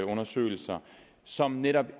undersøgelser som netop